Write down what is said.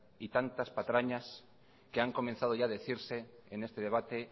y tantas patrañas que han comenzado ya a decirse en este debate